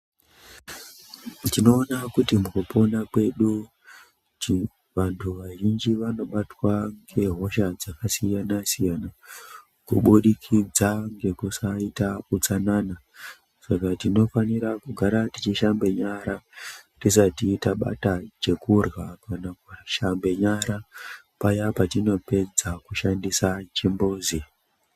Tinoona kuti mukupona kwedu vanhu vazhinji vakabatwa nehosha dzakasiyana siyana kubudikidza nekusaita utsanana saka tinofanira kugara tichishambe nyara tusati tabata chokudya kana kushambe nyara paya patinopedza kushandisa chimbuzi.